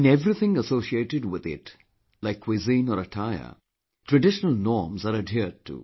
In everything associated with it like cuisine or attire, traditional norms are adhered to